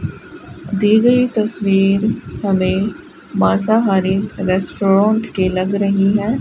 दिए गई तस्वीर हमें मांसाहारी रेस्टोरोट की लग रही है।